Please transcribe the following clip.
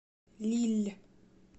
лилль